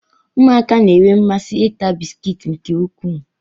ụmụaka na-enwe mmasị ịta bisikiiti nke ukwuu